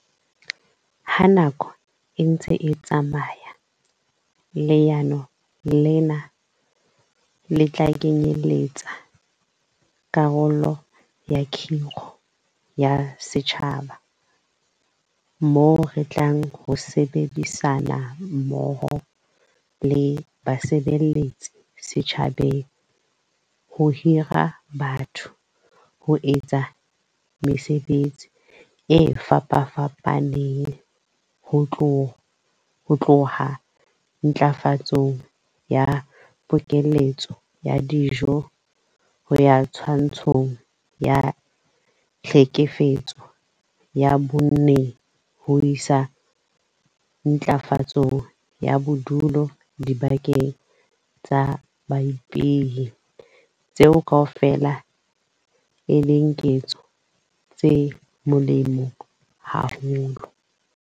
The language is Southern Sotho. Ha nako e ntse e tsamaya, leano lena le tla kenyeletsa karolo ya 'kgiro ya setjhaba' moo re tlang ho sebedisana mmoho le basebeletsi setjhabeng ho hira batho ho etsa mesebetsi e fapafapaneng - ho tloha ntlafatsong ya pokeletso ya dijo ho ya twantshong ya tlhekefetso ya bonng ho isa ntlafatsong ya bodulo dibakeng tsa baipehi - tseo kaofela e leng ketso tse molemo haholo.